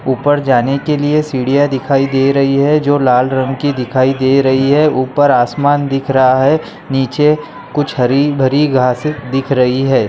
ऊपर जाने के लिए सीढियाँ दिखाई दे रही है जो लाल रंग की दिखाई दे रही है ऊपर आसमान दिख रहा है नीचे कुछ हरी भरी घासे दिख रही है ।